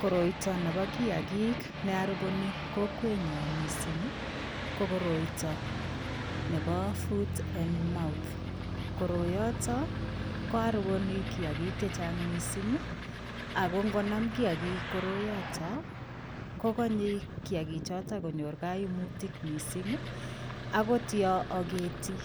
Koroito nebo kiagik nearuboni kokwenyo mising ko koroito nebo foot and mouth. Koroiyotok koaruboni kiagik chechang' mising ako ngonam kiagik koroyotok kokanyei kiagichotok konyor koimutik mising akot yo ageti